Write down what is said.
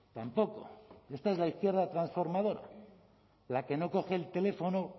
tampoco esta es la izquierda transformadora la que no coge el teléfono